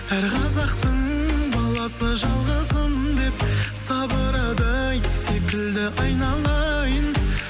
әр қазақтың баласы жалғызым деп сабырадай секілді айналайын